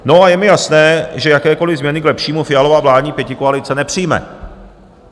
No a je mi jasné, že jakékoli změny k lepšímu Fialova vládní pětikoalice nepřijme.